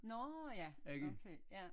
Nårh ja okay ja